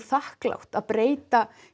þakklátt að breyta